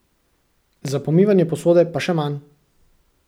Za pomivanje posode pa še manj.